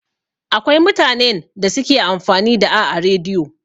Akwai mutanen da suke amfani da a rediyo.